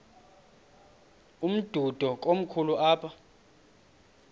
umdudo komkhulu apha